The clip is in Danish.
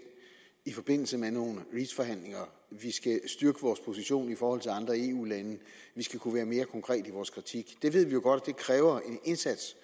i forbindelse med nogle reach forhandlinger vi skal styrke vores position i forhold til andre eu lande vi skal kunne være mere konkrete i vores kritik det ved vi jo godt det kræver en indsats